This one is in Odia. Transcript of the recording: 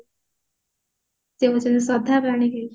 ସେ ହଉଛନ୍ତି ଶ୍ରଦ୍ଧା ପାଣିଗ୍ରାହୀ